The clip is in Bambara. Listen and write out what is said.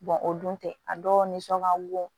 o dun tɛ a dɔw nisɔn ka bon